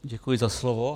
Děkuji za slovo.